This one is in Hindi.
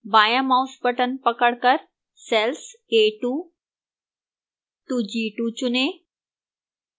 बायां mouse button पकड़कर cells a2 to a2 चुनें